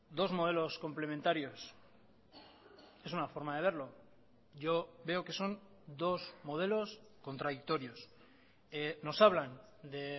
dos modelos complementarios es una forma de verlo yo veo que son dos modelos contradictorios nos hablan de